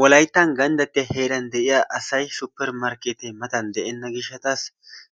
Wolayttan ganddattiyaa heeran de'iyaa asay supermarkketee mata de'ena giishshasi